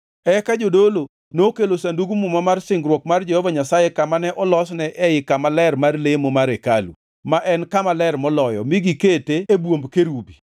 Eka jodolo nokelo Sandug Muma mar singruok mar Jehova Nyasaye kama ne olosne ei kama ler mar lemo mar hekalu, ma en Kama Ler Moloyo mi gikete e bwomb kerubi.